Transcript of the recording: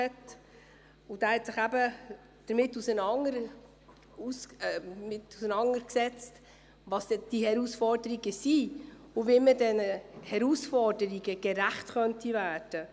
Er hat sich nämlich damit auseinandergesetzt, welches die Herausforderungen sind und wie man diesen gerecht werden könnte.